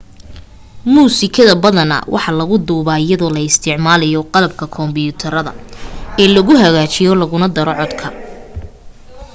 musikada badana waxaa la lagu duuba iyadoo la isticmalayo qalabka kombuterada ee lagu hagaajiyo laguna daro codka